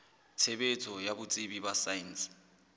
tshebetso ya botsebi ba saense